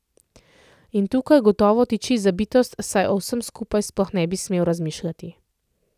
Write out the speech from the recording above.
In tukaj gotovo tiči zabitost, saj o vsem skupaj sploh ne bi smel razmišljati.